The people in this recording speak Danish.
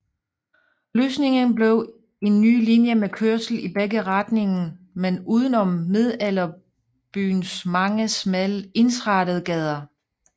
Løsningen blev en ny linje med kørsel i begge retningen men udenom Middelalderbyens mange smalle ensrettede gader